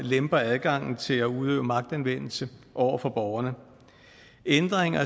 lemper adgangen til at udøve magtanvendelse over for borgerne ændringer